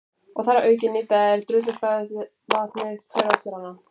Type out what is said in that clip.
Og þar að auki nýta þeir drullugt baðvatnið hver eftir annan.